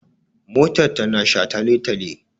Motar ta na shataletale